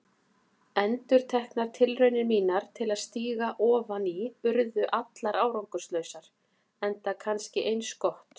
Endurteknar tilraunir mínar til að stíga ofan í urðu allar árangurslausar, enda kannski eins gott.